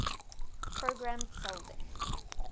programmed cell death